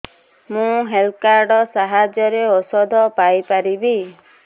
ମୁଁ health card ସାହାଯ୍ୟରେ ଔଷଧ ପାଇ ପାରିବି